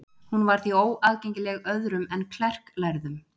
hún var því óaðgengileg öðrum en klerklærðum